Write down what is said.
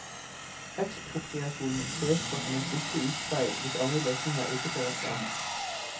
Ekspropriasjon sees på som en siste utvei hvis andre løsninger ikke fører frem.